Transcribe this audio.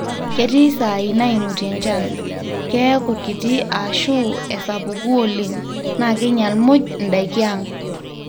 ketii saai naimutie enchan, keeku kiti ashu esapuku oleng, na keinyal muuj ndaiki ang